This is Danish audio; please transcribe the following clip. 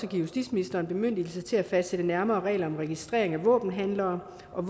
justitsministeren bemyndigelse til at fastsætte nærmere regler om registrering af våbenhandlere og